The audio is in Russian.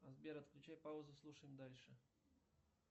сбер отключи паузу слушаем дальше